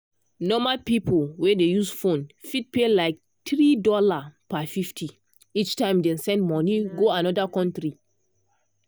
normal person wey dey use phone fit pay like $3.50 each time dem send money go another country.